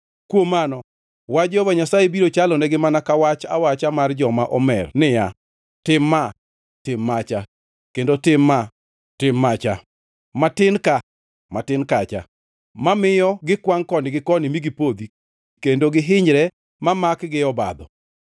Kuom mano, wach Jehova Nyasaye biro chalonegi mana ka wach awacha mar joma omer niya: Tim ma, tim macha, kendo tim ma, tim macha, matin ka, matin kacha, mamiyo gikwangʼ koni gi koni mi gipodhi kendo gihinyre ma makgi e obadho.